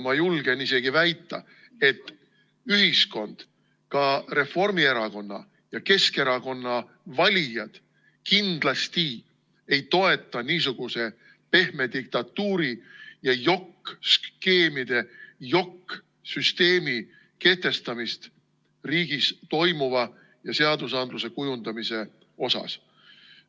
Ma julgen isegi väita, et ühiskond, ka Reformierakonna ja Keskerakonna valijad, kindlasti ei toeta niisuguse pehme diktatuuri, jokk-skeemide, jokk-süsteemi kehtestamist riigis toimuva ja seadusandluse kujundamise mõttes.